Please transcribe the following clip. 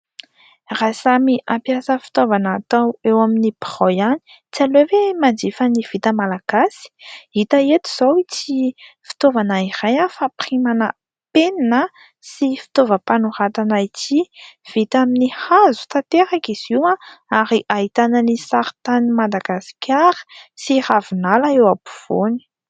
Raha samy hampiasa fitaovana atao eo amin'ny birao ihany tsy aleo ve manjifa ny vita Malagasy, hita eto izao ity fitaovana iray fampirimana penina sy fitaovam-panoratana ity, vita amin'ny hazo tanteraka izy ary ahitana ny saritanin'i Madagasikara sy ravinala eo afovoany.